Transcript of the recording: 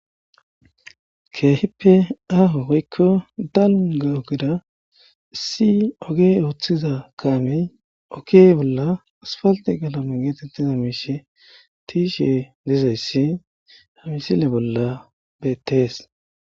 keehippe aaho oykko dalga ogeda issi oge wooththiza kaamey oke bolla asfalte galame geetettiza miishe tiishe dizayssi hamisile bolla beettees